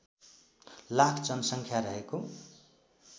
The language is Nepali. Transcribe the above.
लाख जनसङ्ख्या रहेको